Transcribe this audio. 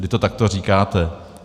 Vy to takto říkáte.